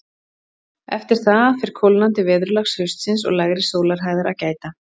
Eftir það fer kólnandi veðurlags haustsins og lægri sólarhæðar að gæta.